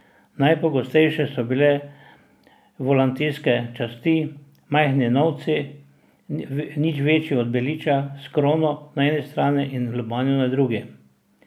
Najpogostejše so bile volantijske časti, majhni novci, nič večji od beliča s krono na eni strani in lobanjo na drugi.